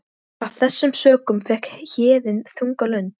Af þessum sökum fékk Héðinn þunga lund.